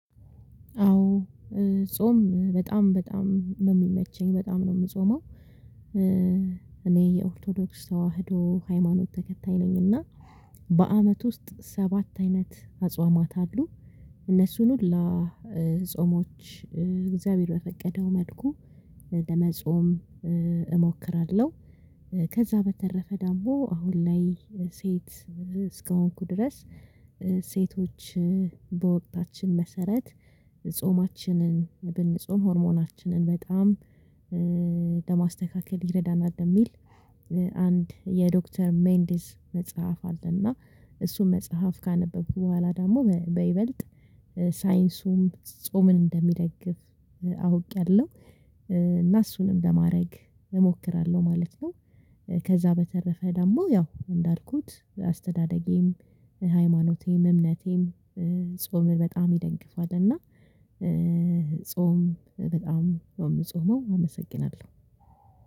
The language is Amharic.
አዎ ጾም በጣም በጣም ነው የሚመቸኝ። በጣም ነው የምጾመው። እኔ የኦርቶዶክስ ተዋህዶ ሃይማኖት ተከታይ ነኝና በአመት ውስጥ ሰባት አይነት አጽዋማት አሉ። እነሱን ሁላ ጾሞች እግዚአብሔር በፈቀደው መልኩ ለመጾም እሞክራለሁ። ከዛ በተረፈ ደግሞ አሁን ላይ ሴት እስከሆንኩ ድረስ ሴቶች በወቅታችን መሰረት ጾማችንን ብንጾም ሆርሞናችንን በጣም ለማስተካከል ይረዳናል የሚል አንድ የዶክተር ሜንዲስ መጽሐፍ አለና እሱም መጽሐፍ ካነበብኩ በኋላ ደግሞ በይበልጥ ሳይንሱም ጾምን እንደሚደግፍ አውቄያለሁ። እና እሱንም ለማድረግ እሞክራለሁ ማለት ነው። ከዛ በተረፈ ደግሞ ያው እንዳልኩት አስተዳደጌም፤ ሃይማኖቴም፤ እምነቴም፤ ጾምን በጣም ይደግፋል እና ጾም በጣም ነው የምጾመው። አመሰግናለሁ።